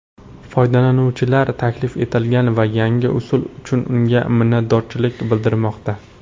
Foydalanuvchilar taklif etilgan yangi usul uchun unga minnatdorchilik bildirmoqda.